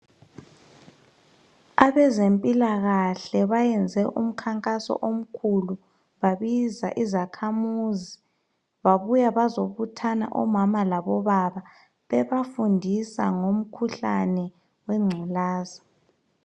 Abezempilakahle bayayenza umkhankaso omkhulu babiza izakhamizi babuya bazobuthana omama labobaba bebafundisa ngomkhuhlane wengculazi.